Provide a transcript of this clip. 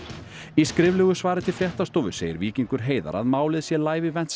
í skriflegu svari til fréttastofu segir Víkingur Heiðar að málið sé Live